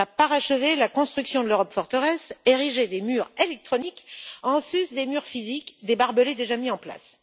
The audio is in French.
Il va parachever la construction de l'Europe forteresse, ériger des murs électroniques en sus des murs physiques et des barbelés déjà mis en place.